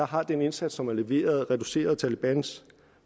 har den indsats som er leveret reduceret talebans